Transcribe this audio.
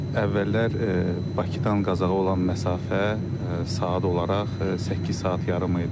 Əvvəllər Bakıdan Qazaxa olan məsafə saat olaraq səkkiz saat yarım idi.